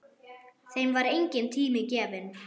Þeim var enginn tími gefinn.